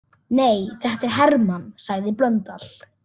Nei, þetta er Hermann, sagði Blöndal.